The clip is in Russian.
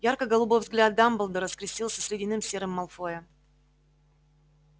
ярко-голубой взгляд дамблдора скрестился с ледяным серым малфоя